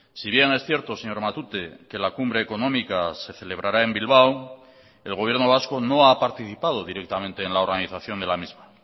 si bien es cierto señor matute que la cumbre económica se celebrará en bilbao el gobierno vasco no ha participado directamente en la organización de la misma